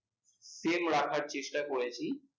same রাখার চেষ্টা করেছি।